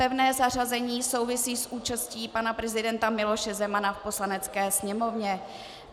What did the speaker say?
Pevné zařazení souvisí s účastí pana prezidenta Miloše Zemana v Poslanecké sněmovně.